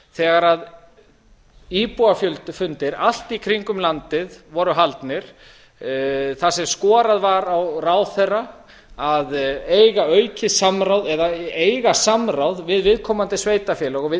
þegar íbúafundir allt í kringum landið voru haldnir þar sem skorað var á ráðherra að eiga aukið samráð eða eiga samráð við viðkomandi sveitarfélög og við